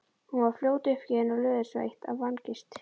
Hún varð fljótt uppgefin og löðursveitt af angist.